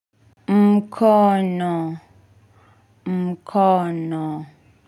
Mkono, mkono.